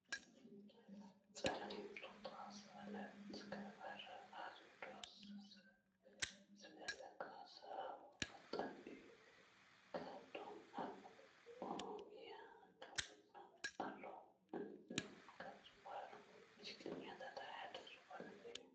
ፀሊም ቱታ ዝገበረ ኣዝዩ ደስ ዝብለካ ስሓቃይ ወጣት እዩ። ካብቶም ኣብ ኦሮሚያ ክልል ኣለው ካብ ዝብሃሉ ሙዚቀኛታት ሓደ ዝኮነ እዩ ።